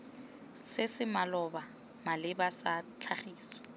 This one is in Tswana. se se maleba sa tlhagiso